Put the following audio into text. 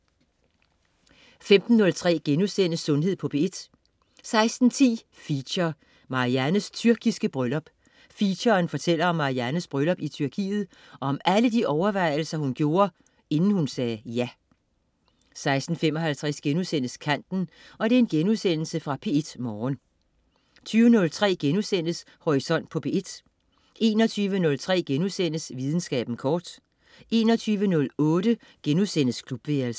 15.03 Sundhed på P1* 16.10 Feature: Mariannes tyrkiske bryllup. Featuren fortæller om Mariannes bryllup i Tyrkiet og om alle de overvejelser, hun gjorde, inden hun sagde 'Ja' 16.55 Kanten.* Genudsendelse fra P1 Morgen 20.03 Horisont på P1* 21.03 Videnskaben kort* 21.08 Klubværelset*